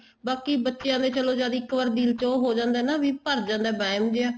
ਬਾਕੀ ਬੱਚਿਆ ਦੇ ਚਲੋਂ ਜਦ ਇੱਕ ਵਾਰੀ ਦਿਲ ਹੋ ਜਾਂਦਾ ਏ ਵੀ ਭਰ ਜਾਂਦਾ ਏ ਵਹਿਮ ਜਾ